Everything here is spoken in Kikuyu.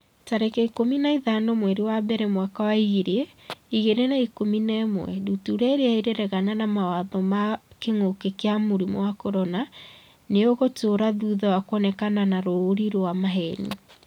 tarĩki ikũmi na ithano mweri wa mbere mwaka wa ngiri igĩrĩ na ikũmi na ĩmwe Ndutura irĩa 'ĩraregana na mawatho ma kĩngũki kia mũrimũ wa CORONA nĩ ĩgũtũra thutha wa kuonekana na rũũri rwa maheeni.